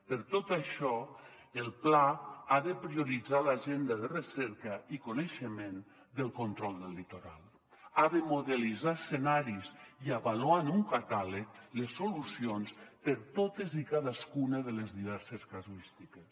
per tot això el pla ha de prioritzar l’agenda de recerca i coneixement del control del litoral ha de modelitzar escenaris i avaluar en un catàleg les solucions per a totes i cadascuna de les diverses casuístiques